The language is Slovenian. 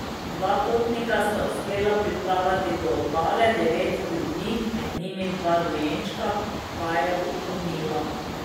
Dva potnika sta uspela priplavati do obale, devet ljudi, med njimi dva dojenčka, pa je utonilo.